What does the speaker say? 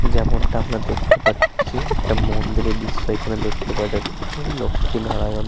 যেমনটা আমরা দেখতে পাচ্ছি একটা মন্দিরের দৃশ্য এখানে দেখতে পাওয়া যাচ্ছে লক্ষ্মী নারায়ণ--